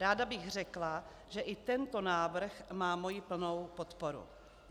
Ráda bych řekla, že i tento návrh má moji plnou podporu.